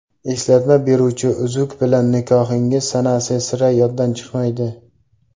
Eslatma beruvchi uzuk bilan nikohingiz sanasi sira yoddan chiqmaydi.